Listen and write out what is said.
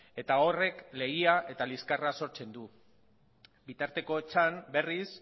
eta horrek legia eta liskarra sortzen du bitartekotzan berriz